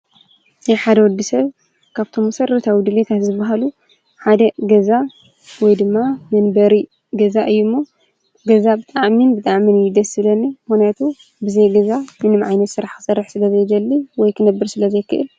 ናይ ሓደ ወዲ ሰብ ካብቶም መሰረታዊ ድሌታት ዝባሃሉ ሓደ ገዛ ወይ ድማ መንበሪ ገዛ እዩ እሞ ገዛ ብጣዕሚ ብጣዕሚ እዩ ደስ ዝብለኒ። ምክንያቱ ብዘይ ገዛ ምንም ዓይነት ስራሕ ክሰርሕ ስለ ዘይደሊ ወይ ክነብር ስለ ዘይክእል።